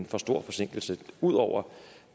for stor en forsinkelse ud over